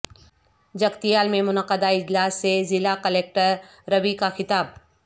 جگتیال میں منعقدہ اجلاس سے ضلع کلکٹر روی کا خطاب